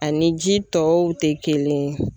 Ani ji tɔw tɛ kelen ye.